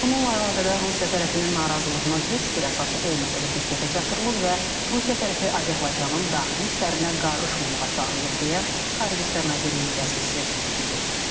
Bununla əlaqədar Rusiya tərəfinin narazılığının heç bir əsası olmadığı diqqətə çatdırılıb və Rusiya tərəfi Azərbaycanın daxili işlərinə qarışmamağa çağırılıb deyə Xarici İşlər Nazirliyinin rəsmisi bildirib.